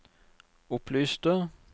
opplyste